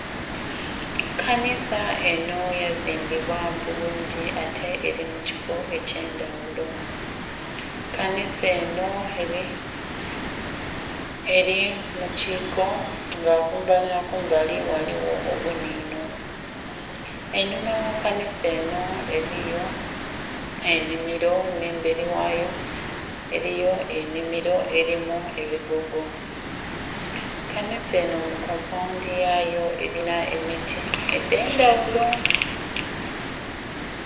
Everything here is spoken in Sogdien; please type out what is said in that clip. Kanhisa enho yagizimba mubulungi ate elimu kifoo ekye ndhaghulo, kanhisa enho eli mukiko nga kumbali nha kumbali ghaligho obunhinho, enhuma gha kanhisa enho eliyo enhimilo nhe mbeli ghayo eliyo enhimilo elimu embogo, kanhisa enho mu kompaghundhi yayo elinha emiti edhendhaghulo.